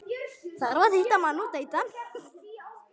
Þarf að hitta mann.